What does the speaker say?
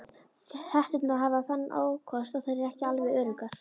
Hetturnar hafa þann ókost að þær eru ekki alveg öruggar.